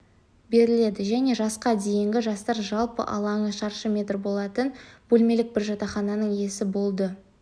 берілді және жасқа дейінгі жастар жалпы алаңы шаршы метр болатын бөлмелік бір жатақхананың иесі болды